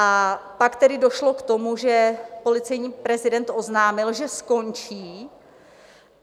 A pak tedy došlo k tomu, že policejní prezident oznámil, že skončí.